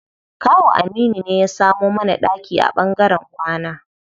Kawu Aminu ne ya samo mana ɗaki a ɓangaren kwana.